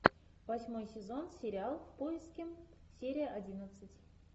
восьмой сезон сериал в поиске серия одиннадцать